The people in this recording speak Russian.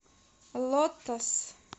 лотос